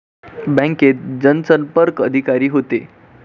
बँकेत जनसंपर्क अधिकारी होते